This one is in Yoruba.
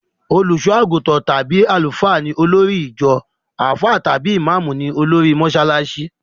Olùsọ́-àgùntàn tàbí Àlùfáà ni olórí ìjọ; àfáà tàbí ìmáàmú ní olórí mọsálásí.